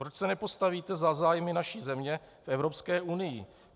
Proč se nepostavíte za zájmy naší země v Evropské unii?